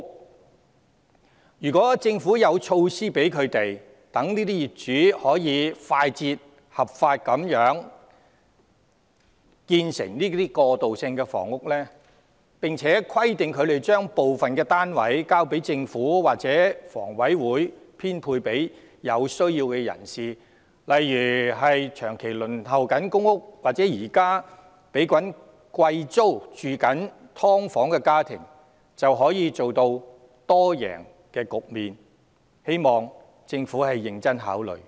假如政府有措施讓這些業主可以快捷、合法地建成過渡性房屋，並規定他們把部分單位交回政府或房委會編配給有需要人士，例如長期輪候公屋或現時繳交昂貴租金的"劏房"家庭，就可達致多贏局面，我希望政府能認真考慮這建議。